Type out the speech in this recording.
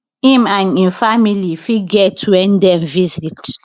im and im family fit get wen dem visit